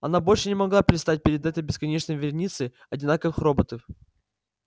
она больше не могла предстать перед этой бесконечной вереницей одинаковых роботов